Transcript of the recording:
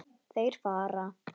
Þeir fara.